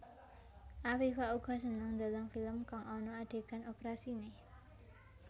Afifa uga seneng ndeleng film kang ana adegan oprasiné